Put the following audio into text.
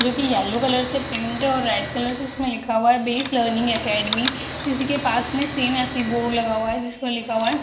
जो कि yellow colour से पेंट है और रेड कलर से इसमें लिखा हुआ है बेस लर्निंग अकादमी उसी के पास में सेम वैसी बोर्ड लगा हुआ है जिसमें लिखा हुआ है --